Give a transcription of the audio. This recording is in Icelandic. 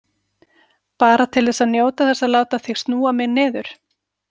Bara til að njóta þess að láta þig snúa mig niður.